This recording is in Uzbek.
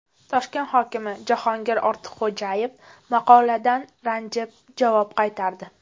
Toshkent hokimi Jahongir Ortiqxo‘jayev maqoladan ranjib javob qaytardi.